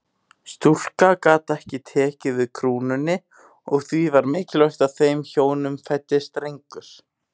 Stúlka gat ekki tekið við krúnunni og því var mikilvægt að þeim hjónum fæddist drengur.